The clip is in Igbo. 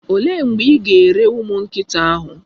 Olee mgbe ị ga-ere ụmụ nkịta ahụ?